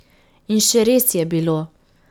In še res je bilo.